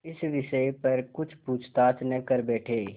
इस विषय पर कुछ पूछताछ न कर बैठें